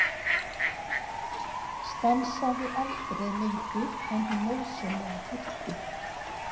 Stansaði aldrei lengur en hún nauðsynlega þurfti.